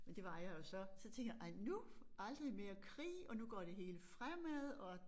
Men det var jeg jo så så tænkte jeg ej nu aldrig mere krig og nu går det hele fremad og